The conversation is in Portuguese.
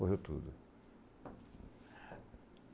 Morreu tudo.